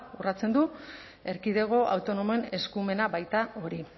urratzen du erkidego autonomoen eskumena baita hori